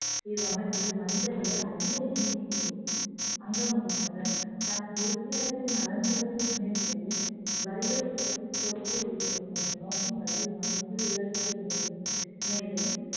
இவ்வமைப்பில் வணிகர்களை அதிக எண்ணிக்கையில் அங்கம் வகித்தனர் தனது உறுப்பினர்களின் நலன்களை முன்னெடுப்பது வரிகளை குறைத்து கோரிக்கை வைப்பது போன்ற நோக்கங்களை இவ்வமைப்பு உள்ளடக்கி இருந்தது மேலும்